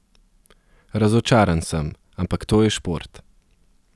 Razočaran sem, ampak to je šport.